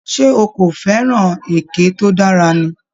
Ṣé o kò fẹ́ràn èké tó dára ni?